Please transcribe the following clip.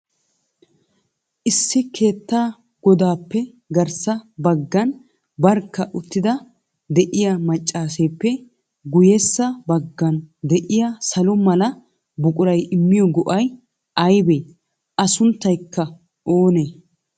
Issi keetta godappe garssa baggan barkka uttada de'iyaa maccasseppe guyyessa baggan de'iyaa salo mala buquray immiyo go'ay aybbe? A sunttaykka oonee?